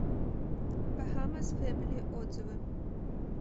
бахамасфэмили отзывы